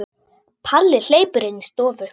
Palli hleypur inn í stofu.